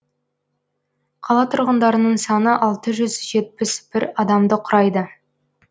қала тұрғындарының саны алты жүз жетпіс бір адамды құрайды